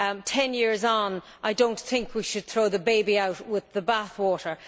Ten years on, I do not think we should throw the baby out with the bathwater.